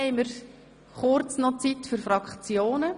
Somit bleibt kurz Zeit für die Fraktionen.